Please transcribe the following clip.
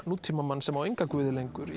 nútímamanns sem á enga guði lengur